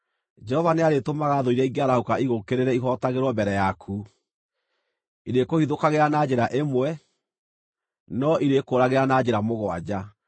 Jehova nĩarĩĩtũmaga thũ iria ingĩarahũka igũũkĩrĩre ihootagĩrwo mbere yaku. Irĩkũhithũkagĩra na njĩra ĩmwe, no irĩkũũragĩra na njĩra mũgwanja.